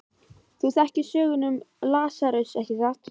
Þú þekkir söguna um Lasarus, ekki satt?